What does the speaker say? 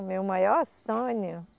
O meu maior sonho